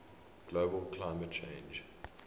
global climate change